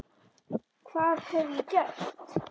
Hvað hef ég gert?.